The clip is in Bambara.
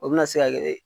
O bɛna se ka kɛ